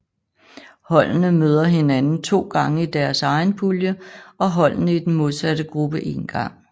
Holdene møder hinanden to gange i deres egen pulje og holdene i den modsatte gruppe en gang